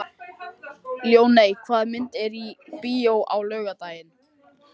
Ljóney, hvaða myndir eru í bíó á laugardaginn?